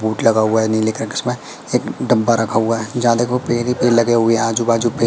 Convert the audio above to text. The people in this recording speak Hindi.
बोट लगा हुआ है नीले कलर का इसमें एक डब्बा रखा हुआ है जहां देखो पेर ही पेर लगे हुए है आजू बाजू पेर --